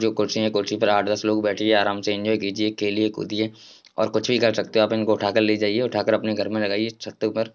जो कुर्सी है कुर्सी पर आठ-दस लोग बैठिए आराम से एंजॉय कीजिए खेलिए कूदिए और कुछ भी कर सकते है आप उनको उठा के ले जाइए उठा के अपने घर में लगाइये छत के ऊपर।